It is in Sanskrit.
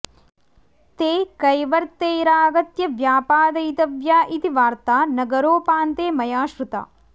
ते कैवर्तैरागत्य व्यापादयितव्या इति वार्ता नगरोपान्ते मया श्रुता